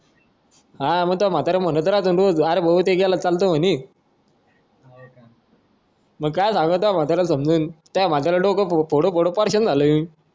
हा तुझा म्हातारा म्हणत राहतो ना कधी अरे तो गेला तर चालतं म्हणी मग काय सांगावं समजून म्हाताऱ्या पुढं डोकं फोडू फोडू झालो मी